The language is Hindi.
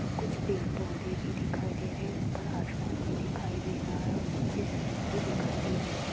कुछ पेड़ पौधे भी दिखाई दे रहे ऊपर आसमान भी दिखाई दे रहा है और नीचे जमीन भी दिखाई दे रही--